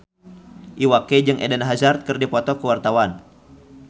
Iwa K jeung Eden Hazard keur dipoto ku wartawan